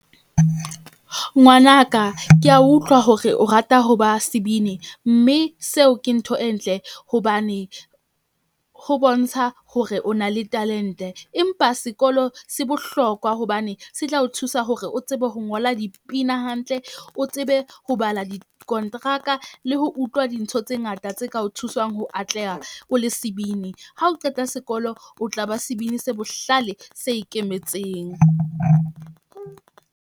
Ngwanaka ke a utlwa hore o rata ho ba sebini mme seo ke ntho e ntle hobane ho bontsha hore o na le talent-e. Empa sekolo se bohlokwa hobane se tla o thusa hore o tsebe ho ngola dipina hantle. O tsebe ho bala dikonteraka le ho utlwa dintho tse ngata tse ka o thusang ho atleha o le sebini. Ha o qeta sekolo, o tla ba sebini se bohlale se ikemetseng.